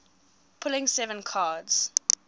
pulling seven cards